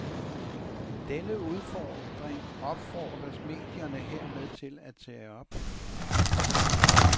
Denne udfordring opfordres medierne hermed til at tage op.